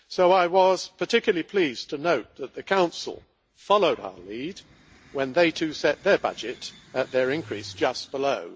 I was particularly pleased to note that the Council followed our lead when they too set their budget at an increase of just below